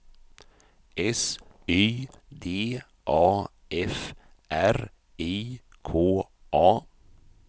S Y D A F R I K A